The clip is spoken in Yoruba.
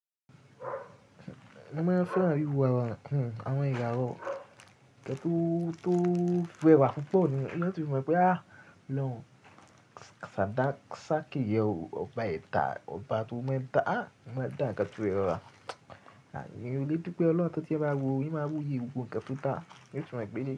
Mo máa ń fẹ́ràn wíwo àwọn, àwọn ìyàró tó, tó rèwa púpọ̀ nìyẹn. Ó tún mọ̀ pé àí lọ́, ṣàdá, ṣá kì yẹ o, ọba ẹ̀ta, ọba tó mọ́ dá, á mọ́ dá ǹkẹ́ tó jẹ ọ̀rọ̀ rẹ̀. Àní o lé dupé Ọlọ́run tọ́ tí ẹ bá wò ó, yín máa wù yí i gbogbo ǹkẹ́ tó dá, yóò tún mọ̀ pé.